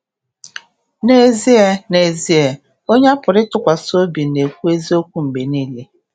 N’ezie, N’ezie, onye a pụrụ ịtụkwasị obi na-ekwu eziokwu mgbe niile.